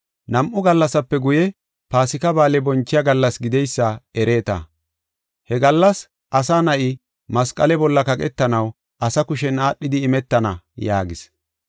“Nam7u gallasape guye, Paasika Ba7aale bonchiya gallas gideysa ereeta. He gallas Asa Na7i masqale bolla kaqetanaw asa kushen aadhidi imetana” yaagis.